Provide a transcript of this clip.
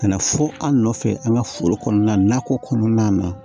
Ka na fɔ an nɔfɛ an ga foro kɔnɔna na nakɔ kɔnɔna na